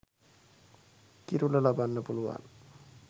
කිරුළ ලබන්න පුළුවන්